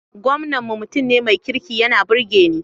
Gwamnan mu mutum ne mai kirki yana burge ni